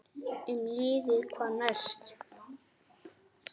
Um liðið: Hvað næst?